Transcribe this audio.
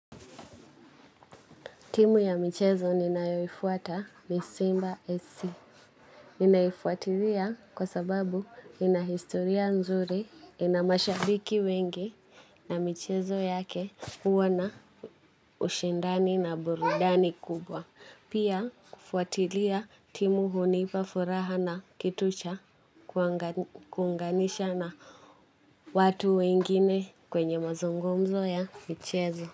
Timu ya michezo ni ninayoifuata ni Simba SC. Ninaifuatilia kwa sababu ina historia nzuri, ina mashabiki wengi na michezo yake huwa na ushindani na burudani kubwa. Pia kufuatilia timu hunipa furaha na kitu cha kuunganisha na watu wengine kwenye mazungumzo ya michezo.